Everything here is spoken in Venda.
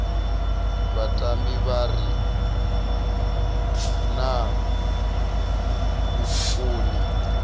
vhatambi vha re na vhukoni